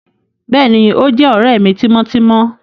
Béèni, o jé òré mí timọtimọ